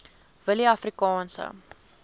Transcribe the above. willieafrikaanse